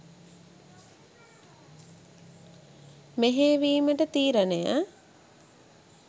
මෙහෙයවීමට තීරණය